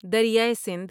دریائے سندھ